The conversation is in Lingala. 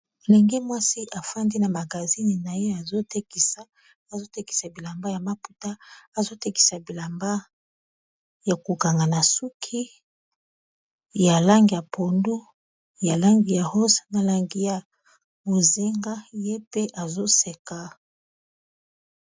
ndenge mwasi efandi na magazine na ye azotekisa bilamba ya maputa azotekisa bilamba ya kokanga na suki ya lang ya pondo ya langi ya ross na langi ya bozinga ye te azoseka